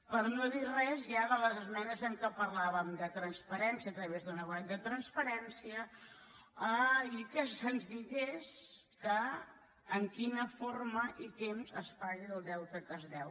per no dir res ja de les esmenes en què parlàvem de transparència a través d’una web de transparència i que se’ns digués en quina forma i temps es paga el deute que es deu